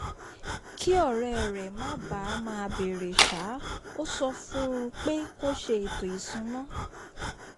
kí ọ̀rẹ́ rẹ̀ má bàa máa bèèrè ṣáá ó sọ fún un pé kó ṣe ètò ìsúná